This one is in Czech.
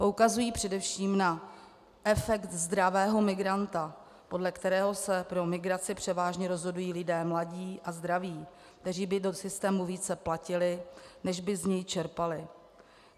Poukazují především na efekt zdravého migranta, podle kterého se pro migraci převážně rozhodují lidé mladí a zdraví, kteří by do systému více platili, než by z něj čerpali.